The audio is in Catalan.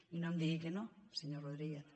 i no em digui que no senyor rodríguez